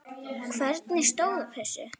Hvernig stóð á þessu?